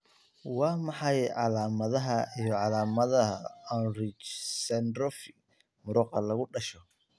Waa maxay calaamadaha iyo calaamadaha Ullrich dystrophy muruqa lagu dhasho?